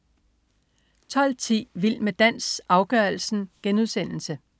12.10 Vild med dans, afgørelsen*